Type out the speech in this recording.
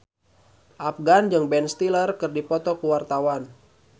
Afgan jeung Ben Stiller keur dipoto ku wartawan